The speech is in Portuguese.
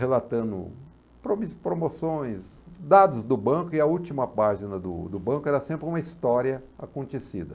relatando promi promoções, dados do banco, e a última página do do banco era sempre uma história acontecida.